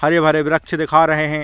हरे - भरे वृक्ष दिखा रहै है।